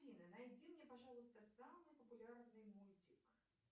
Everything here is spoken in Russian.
афина найди мне пожалуйста самый популярный мультик